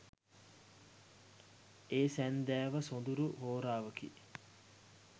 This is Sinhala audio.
ඒ සැන්දෑව සොඳුරු හෝරාවකි